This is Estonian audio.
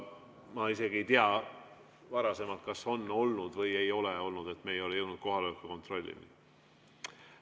Ma isegi ei tea, kas sellist olukorda on varasemalt olnud või ei ole olnud, et me ei ole jõudnud kohaloleku kontrollini.